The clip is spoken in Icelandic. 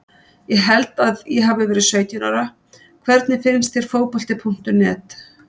Ég held að ég hafi verið sautján ára Hvernig finnst þér Fótbolti.net?